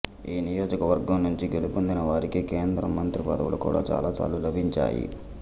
ఈ నియోజకవర్గం నుంచి గెలుపొందిన వారికి కేంద్రంలో మంత్రిపదవులు కూడా చాలా సార్లు లభించాయి